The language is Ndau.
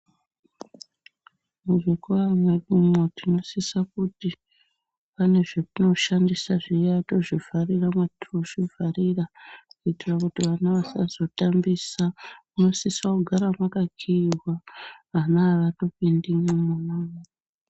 Muzvikora mwedumwo tinosisa kuti pane zvatinoshandisa zviya tozvivharira matinozvivharira. Kuitira kuti vana vasazotambisa munosisa kugara makakiiva ana havatopindi mwona imwo.